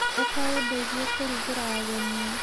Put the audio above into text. Ũka ũndeithie kũrugĩra ageni.